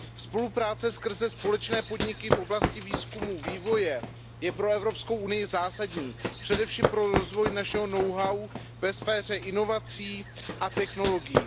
Spolupráce skrze společné podniky v oblasti výzkumu a vývoje je pro Evropskou unii zásadní, především pro rozvoj našeho know how ve sféře inovací a technologií.